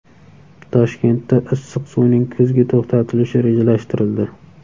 Toshkentda issiq suvning kuzgi to‘xtatilishi rejalashtirildi.